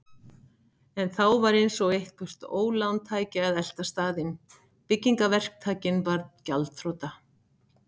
En þá var eins og eitthvert ólán tæki að elta staðinn: Byggingaverktakinn varð gjaldþrota.